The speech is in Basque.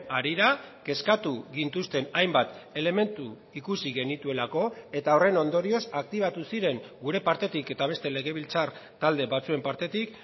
harira kezkatu gintuzten hainbat elementu ikusi genituelako eta horren ondorioz aktibatu ziren gure partetik eta beste legebiltzar talde batzuen partetik